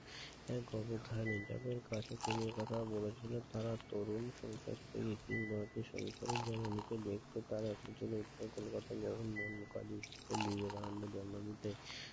এক অবধান যাদের কাছে তিনি এ কথা বলেছিলেন তারা তরুণ সংসার জননীকে দেখতে তারা এসেছিলেন উত্তর কলকাতার বিবেকানন্দের জন্মভূমিতে